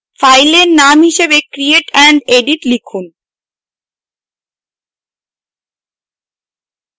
ফাইলের নাম হিসাবে create and edit লিখুন